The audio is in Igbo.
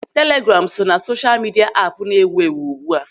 Telegraamu so ná sosha midia apụ na-ewu ewu ugbu a.